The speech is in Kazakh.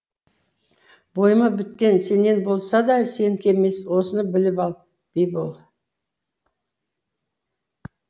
бойыма біткен сенен болса да сенікі емес осыны біліп ал бибол